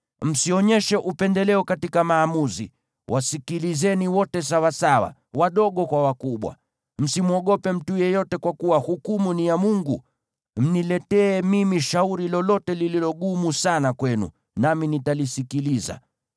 Msionyeshe upendeleo katika maamuzi; wasikilizeni wote sawasawa, wadogo kwa wakubwa. Msimwogope mtu yeyote, kwa kuwa hukumu ni ya Mungu. Mniletee mimi shauri lolote lililo gumu sana kwenu, nami nitalisikiliza.